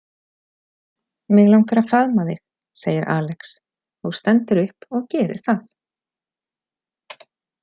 Mig langar að faðma þig, segir Alex og stendur upp og gerir það.